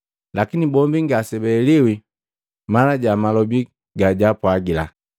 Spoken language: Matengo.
Lakini bombi ngasebaheliwi mana ja malobi gajaapwagila.